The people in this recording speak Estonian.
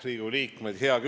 Riigikogu liikmed!